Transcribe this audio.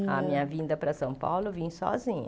A minha vinda para São Paulo, eu vim sozinha.